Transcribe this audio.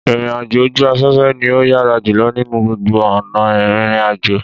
Ìrìnàjò ojú aféfé ni ó yára jùlo nínú gbogbo ònà írínrínàjò